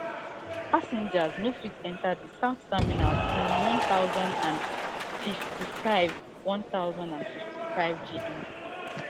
passengers no fit enter di south terminal since one thousand and fifty-five one thousand and fifty-five gmt